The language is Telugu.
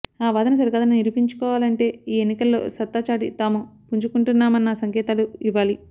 ఆ వాదన సరికాదని నిరూపించుకోవాలంటే ఈ ఎన్నికల్లో సత్తా చాటి తాము పుంజుకుంటున్నామన్న సంకేతాలు ఇవ్వాలి